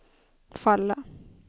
falla